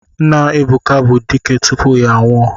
Nna Ebuka bụ dike tupu ya anwụọ.